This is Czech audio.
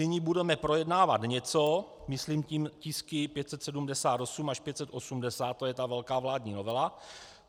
Nyní budeme projednávat něco, myslím tím tisky 578 až 580, to je ta velká vládní novela.